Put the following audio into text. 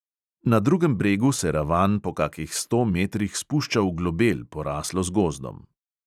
Na drugem bregu se ravan po kakih sto metrih spušča v globel, poraslo z gozdom.